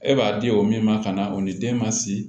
E b'a di o min ma ka na o ni den ma si